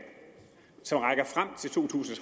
som rækker frem til to tusind